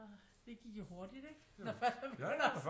Det gik jo hurtigt ikke når først man begynder og